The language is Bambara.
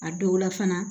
A dɔw la fana